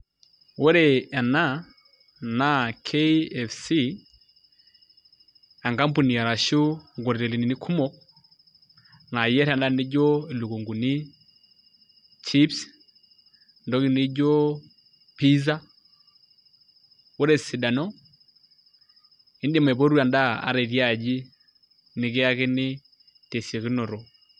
Ore ena naa KFC enkampuni arashu nkotelini kumok naayierr endaa nijio ilukunguni chips ntokitin nijio pizza ore esidano iidim aipotu endaa ata itii aji nikiyakini tesiokinoto.